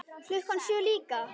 Klukkan sjö líka.